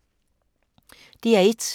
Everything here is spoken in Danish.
DR1